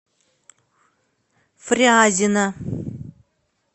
фрязино